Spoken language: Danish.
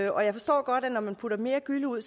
og jeg forstår godt at når man putter mere gylle ud